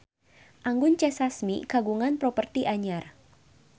Anggun C. Sasmi kagungan properti anyar